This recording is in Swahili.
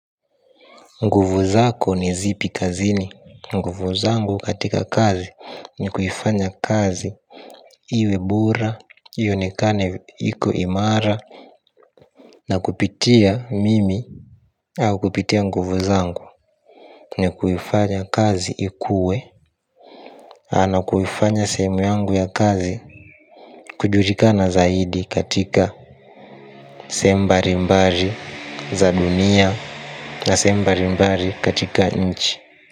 Nguvu zako ni zipi kazini. Nguvu zangu katika kazi ni kuifanya kazi Iwebura Iyonekane iku imara. Na kupitia mimi au kupitia nguvu zangu. Ni kuifanya kazi ikue nakuifanya sehemu yangu ya kazi. Kujurika na zaidi katika sehemu mbari mbari za dunia. Na sehemu mbari mbari katika nchi.